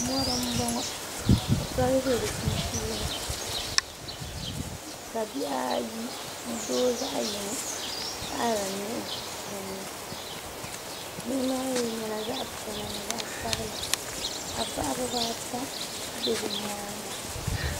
Mɔri m-bɔŋɔ ka soli be di sunsuuni ka bihi ayi ni doo zaɣ' yini taɣiri nihi din ni nihi maa mi nyɛla zaɣ' piɛla ni zaɣ' sabila ba bahi biba ata be bɛ nyaaŋa